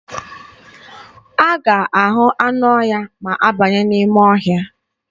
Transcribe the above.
A ga-ahụ anụ ọhịa ma a banye n'ime ọhịa.